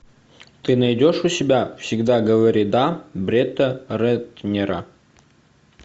ты найдешь у себя всегда говори да бретта рэтнера